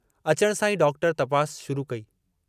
अचण सां ई डॉक्टर तपास शुरू कई।